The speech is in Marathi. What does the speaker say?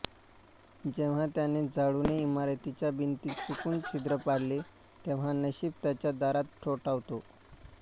जेव्हा त्याने झाडूने इमारतीच्या भिंतीत चुकून छिद्र पाडले तेव्हा नशीब त्याच्या दारात ठोठावतो